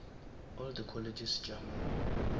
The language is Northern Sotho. all the colleges tša mo